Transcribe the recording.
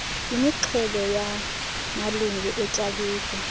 imixhelo yamalungu etyaalike